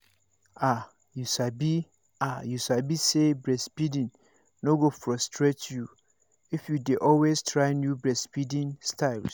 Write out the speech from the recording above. ah you sabi ah you sabi say breastfeeding no go frustrate you if you dey always try new breastfeeding styles